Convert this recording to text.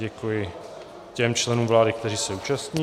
Děkuji těm členům vlády, kteří se účastní.